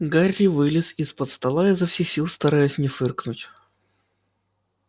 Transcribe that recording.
гарри вылез из-под стола изо всех сил стараясь не фыркнуть